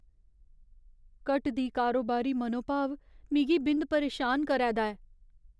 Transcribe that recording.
घटदी कारोबारी मनोभाव मिगी बिंद परेशान करै दा ऐ ।